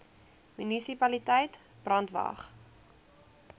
munisipaliteit brandwatch